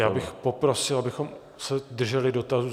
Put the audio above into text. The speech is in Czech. Já bych poprosil, abychom se drželi dotazu.